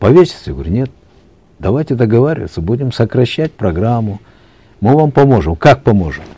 повеситься я говорю нет давайте договариваться будем сокращать программу мы вам поможем как поможем